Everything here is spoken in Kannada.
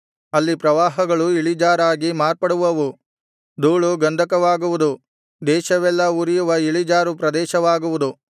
ಅಲ್ಲಿ ಪ್ರವಾಹಗಳು ಇಳಿಜಾರಾಗಿ ಮಾರ್ಪಡುವವು ಧೂಳು ಗಂಧಕವಾಗುವುದು ದೇಶವೆಲ್ಲಾ ಉರಿಯುವ ಇಳಿಜಾರು ಪ್ರದೇಶವಾಗುವುದು